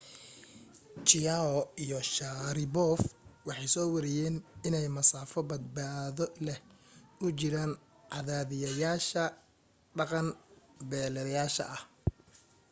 chiao iyo sharipov waxay soo weriyeen inay masaafo badbaado leh u jiraan cadaadiyayaasha dhaqan beddelayaasha ah